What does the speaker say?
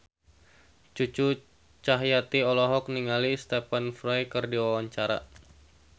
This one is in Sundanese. Cucu Cahyati olohok ningali Stephen Fry keur diwawancara